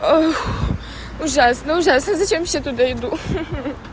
ужасно ужасно зачем вообще туда иду